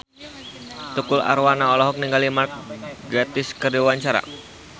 Tukul Arwana olohok ningali Mark Gatiss keur diwawancara